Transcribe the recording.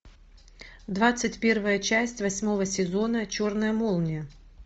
двадцать первая часть восьмого сезона черная молния